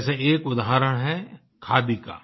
जैसे एक उदाहरण है खादी का